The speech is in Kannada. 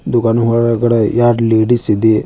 ದುಕಾನ ಒಳಗಡೆ ಎರಡು ಲೇಡೀಸ್ ಇದೆ ಒನ್--